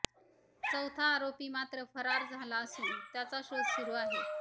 चौथा आरोपी मात्र फरार झाला असून त्याचा शोध सुरू आहे